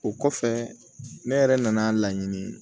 O kɔfɛ ne yɛrɛ nana laɲini